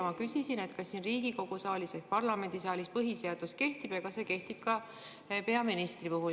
Ma küsisin, kas Riigikogu saalis ehk parlamendisaalis põhiseadus kehtib ja kas see kehtib ka peaministri puhul.